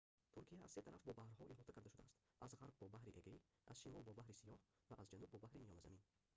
туркия аз се тараф бо баҳрҳо иҳота карда шудааст аз ғарб бо баҳри эгей аз шимол бо баҳри сиёҳ ва аз ҷануб бо баҳри миёназамин